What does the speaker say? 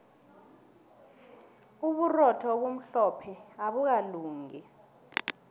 uburotho obumhlophe abukalungi